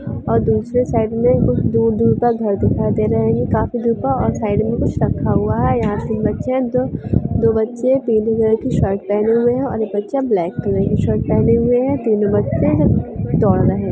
और दुसरे साइड में दूर-दूर तक घर दिखाई दे रहे हैं काफी दूर पर और साइड में कुछ रखा हुआ है यहाँ तीन बच्चे हैं जो दो बच्चे हैं पीले कलर की टी-शर्ट पेहने हुए है एक बच्चा ब्लैक कलर की टी-शर्ट पेहना हुआ है तीन बच्चे हैं जो दौड़ रहे हैं।